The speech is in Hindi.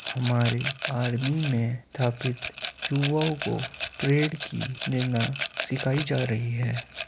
हमारे आर्मी में थापित युवाओं को प्रेड की निरना सिखाई जा रही है।